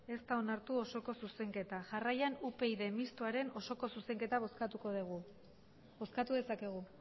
ez da onartu osoko zuzenketa jarraian upyd mistoaren osoko zuzenketa bozkatuko dugu bozkatu dezakegu